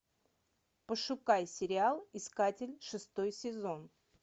пошукай сериал искатель шестой сезон